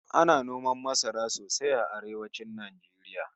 Ana noman masara sosai a arewacin Najeriya